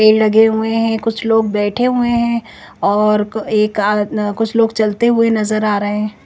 पेड़ लगे हुए है कुछ लोंग बैठे हुए है और क एक आ कुछ लोंग चलते हुए नज़र आ रहे है ।